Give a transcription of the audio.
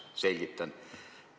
Selgitan.